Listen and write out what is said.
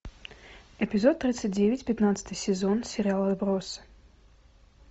эпизод тридцать девять пятнадцатый сезон сериала отбросы